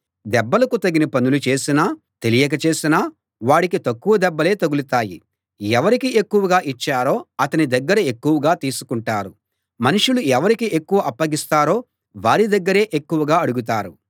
దెబ్బలకు తగిన పనులు చేసినా తెలియక చేసిన వాడికి తక్కువ దెబ్బలే తగులుతాయి ఎవరికి ఎక్కువగా ఇచ్చారో అతని దగ్గర ఎక్కువగా తీసుకుంటారు మనుషులు ఎవరికి ఎక్కువ అప్పగిస్తారో వారి దగ్గరే ఎక్కువగా అడుగుతారు